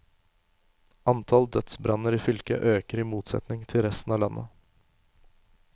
Antall dødsbranner i fylket øker i motsetning til resten av landet.